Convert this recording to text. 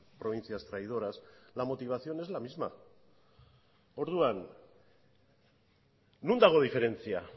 provincias traidoras la motivación es la misma orduan non dago diferentzia